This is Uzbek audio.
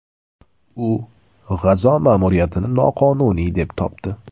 U G‘azo ma’muriyatini noqonuniy deb topdi.